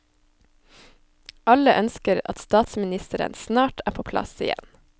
Alle ønsker at statsministeren snart er på plass igjen.